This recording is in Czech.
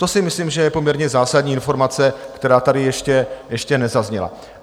To si myslím, že je poměrně zásadní informace, která tady ještě nezazněla.